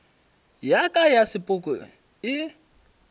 ya ka ya sepoko e